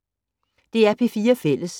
DR P4 Fælles